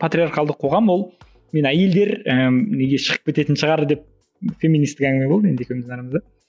патриалхалдық қоғам ол мен әйелдер ііі неге шығып кететін шығар деп феминистік әңгіме болды енді екеуміздің арамызда